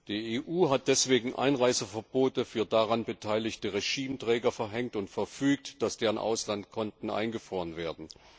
Die EU hat deswegen Einreiseverbote für daran beteiligte Regimeträger verhängt und verfügt, dass deren Auslandskonten eingefroren werden.